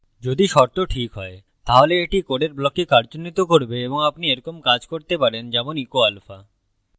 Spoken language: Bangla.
যদি শর্ত ঠিক হয় তাহলে এটি code ব্লককে কার্যন্বিত করবে এবং আপনি এরকম কাজ করতে পারেন যেমন echo alpha